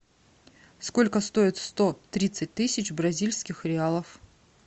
сколько стоит сто тридцать тысяч бразильских реалов